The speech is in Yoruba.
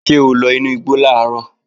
Ṣé o lọ inú igbo làárọ̀?